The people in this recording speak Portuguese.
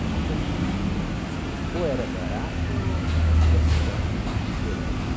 Era uma coisa que a gente... Ou era barato ou a situação era diferente.